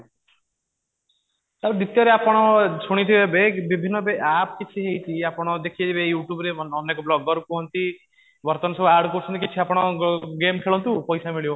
ଆଉ ଦ୍ଵିତୀୟ ରେ ଆପଣ ଶୁଣିଥିବେ ବିଭିନ୍ନ app କିଛି ଆପଣ ଦେଖିଥିବେ you tube ରେ ଅନେକ blogger କୁହନ୍ତି ବର୍ତ୍ତମାନ ସବୁ ad କରୁଛନ୍ତି କିଛି ଆପଣ ଗେମ ଖେଳନ୍ତୁ ପଇସା ମିଳିବ